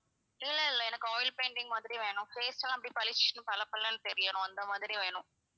இல்ல இல்ல எனக்கு oil painting மாதிரி வேணும் face எல்லாம் அப்படியே பளிச்சுன்னு பளபளன்னு தெரியணும்.